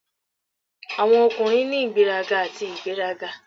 Awọn ọkunrin ni igberaga ati igberaga.